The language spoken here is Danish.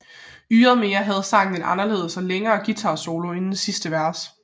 Ydermere havde sangen en helt anderledes og længere guitarsolo inden sidste vers